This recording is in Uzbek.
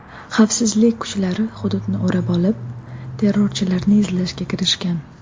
Xavfsizlik kuchlari hududni o‘rab olib, terrorchilarni izlashga kirishgan.